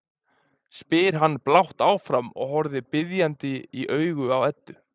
spyr hann blátt áfram og horfir biðjandi í augun á Eddu.